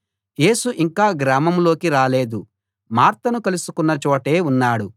యేసు ఇంకా గ్రామంలోకి రాలేదు మార్తను కలుసుకున్న చోటే ఉన్నాడు